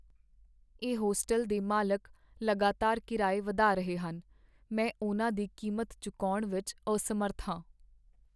ਇਹ ਹੋਸਟਲ ਦੇ ਮਾਲਕ ਲਗਾਤਾਰ ਕਿਰਾਏ ਵਧਾ ਰਹੇ ਹਨ, ਮੈਂ ਉਨ੍ਹਾਂ ਦੀ ਕੀਮਤ ਚੁਕਾਉਣ ਵਿੱਚ ਅਸਮਰੱਥ ਹਾਂ।